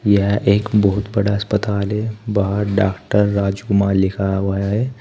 यह एक बहुत बड़ा अस्पताल है बाहर डॉक्टर राजकुमार लिखा हुआ है।